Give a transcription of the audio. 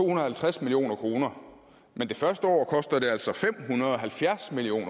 og halvtreds million kroner men det første år koster det altså fem hundrede og halvfjerds million